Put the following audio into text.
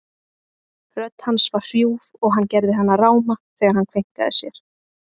Rödd hans var hrjúf og hann gerði hana ráma þegar hann kveinkaði sér.